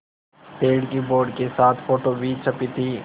पेड़ की बोर्ड के साथ फ़ोटो भी छपी थी